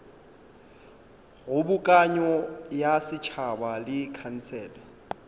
kgobokano ya setšhaba le khansele